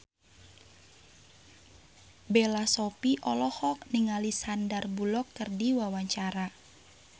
Bella Shofie olohok ningali Sandar Bullock keur diwawancara